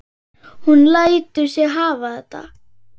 Hún lætur sig hafa þetta.